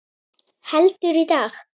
Heldur, í dag!